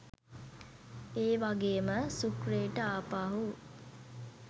ඒවගේම සූක්‍රේට ආපහු